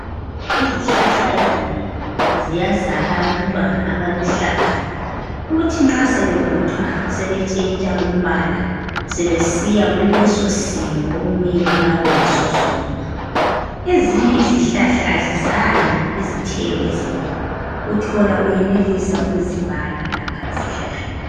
Izihlahla ezinengi ziyazala abantwana abaluhlaza kuthi nxa sebevuthwa sebetshintsha umbala sebesiya kulesosimo okumele babeyiso sona. Ezinye izihlahla azizali izithelo ezinengi, uthola uyenelisa ukuzibala lapha esihlahleni.